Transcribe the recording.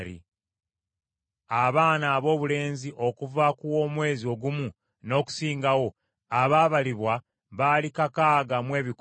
Abaana aboobulenzi okuva ku w’omwezi ogumu n’okusingawo abaabalibwa baali kakaaga mu ebikumi bibiri (6,200).